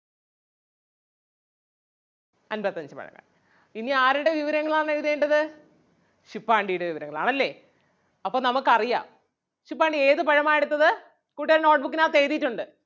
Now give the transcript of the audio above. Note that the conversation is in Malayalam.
അൻപത്തഞ്ചു പഴങ്ങൾ. ഇനി ആരുടെ വിവരങ്ങൾ ആണ് എഴുതേണ്ടത് ശുപ്പാണ്ടിയുടെ വിവരങ്ങൾ ആണല്ലേ അപ്പം നമുക്ക് അറിയാം ശുപ്പാണ്ടി ഏത് പഴമാ എടുത്തത്? കൂട്ടുകാർ note book നകത്ത് എഴുതിയിട്ടുണ്ട്.